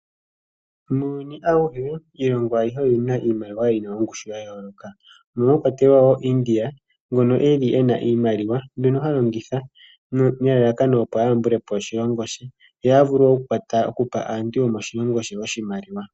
Muuyuni awuhe iilongo ayihe oyina iimaliwa yina ongushu ya yooloka mono mwa kwatelwa wo India. Ngono eli ena iimaliwa mbyono ha longitha nelalakano opo ayambule po oshilongo she ye avule okupa aantu yomoshilongo she oshimaliwa.